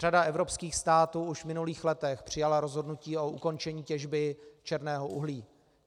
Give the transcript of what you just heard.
Řada evropských států už v minulých letech přijala rozhodnutí o ukončení těžby černého uhlí.